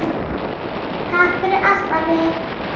Takk fyrir allt afi.